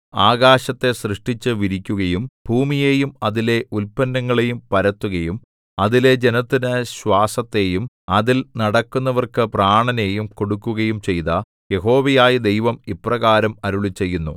ആകാശത്തെ സൃഷ്ടിച്ചു വിരിക്കുകയും ഭൂമിയെയും അതിലെ ഉല്പന്നങ്ങളെയും പരത്തുകയും അതിലെ ജനത്തിനു ശ്വാസത്തെയും അതിൽ നടക്കുന്നവർക്കു പ്രാണനെയും കൊടുക്കുകയും ചെയ്ത യഹോവയായ ദൈവം ഇപ്രകാരം അരുളിച്ചെയ്യുന്നു